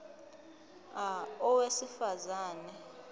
a owesifaz ane